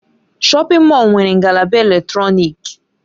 Shọpin Mọll nwere ngalaba eletrọnịkị.